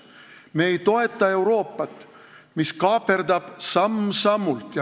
Me ei toeta Euroopat, mis kaaperdab meie riiki samm-sammult.